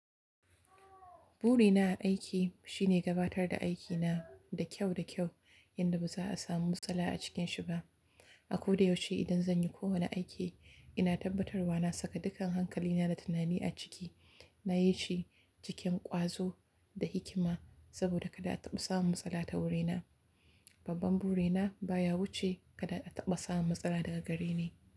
Burina a aiki shine gabatar da aikina da kyau da kyau yadda ba za a samu matsala a cikinsa ba. A ko da yaushe idan zan yi kowane aiki, ina tabbatarwa na saka dukkan hankalina da tunani a ciki. Nayi shi cikin ƙwazo da hikima saboda kada a taɓa samun matsala ta wurina. Babban burina baya wuce kada a taɓa samun matsala daga gareni.